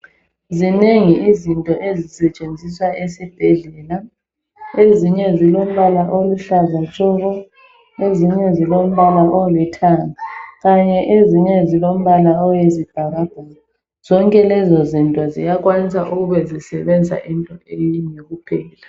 Zinengi izinto ezisetshenziswa esibhedlela. Ezinye zilombala oluhlaza tshoko, ezinye zilombala olithanga kanye ezinye zilombala owezibhakabhaka. Zonke lezo zinto ziyakwanisa ukube zisebenza into eyinye kuphela.